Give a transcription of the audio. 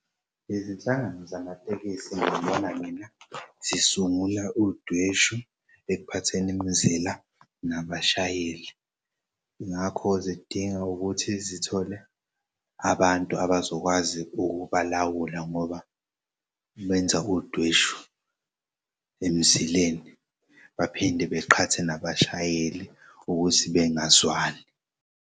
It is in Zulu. Izinhlangano zamatekisi ngibona mina zisungule udweshu ekuphatheni imizila nabashayeli. Ngakho zidinga ukuthi zithole abantu abazokwazi ukubalawula ngoba benza udweshu emzileni baphinde baqhathe nabashayeli ukuthi bengazwani.